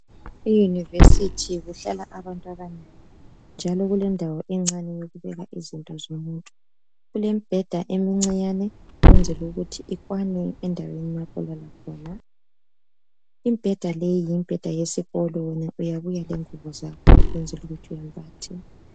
Iyunivesithi kuhlala abantu abanengi njalo kulendawo encane yokubeka izinto zomuntu. Kulembheda emncinyane ukwenzela ukuthi ikwane endaweni lapho olala khona. Imibheda leyi yimibheda yesikolweni uyabuya lengubo zakho ukwenzela ukuthi wembathe.